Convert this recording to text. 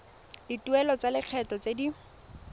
dituelo tsa lekgetho tse di